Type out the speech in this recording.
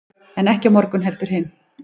en ekki á morgun heldur hinn